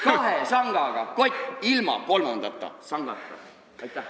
Kahe sangaga kott, ilma kolmanda sangata.